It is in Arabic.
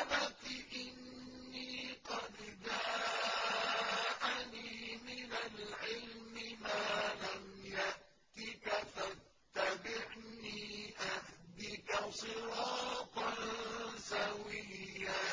أَبَتِ إِنِّي قَدْ جَاءَنِي مِنَ الْعِلْمِ مَا لَمْ يَأْتِكَ فَاتَّبِعْنِي أَهْدِكَ صِرَاطًا سَوِيًّا